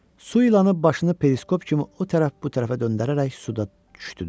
Su ilanı başını periskop kimi o tərəf bu tərəfə döndərərək suda düşdü.